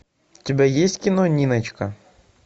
у тебя есть кино ниночка